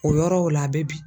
O yɔrɔw la a bɛ bin.